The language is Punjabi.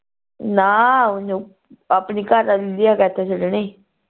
ਨਾ ਆਪਣੀ ਘਰਵਾਲੀ ਦੀ ਛੱਡਣੀ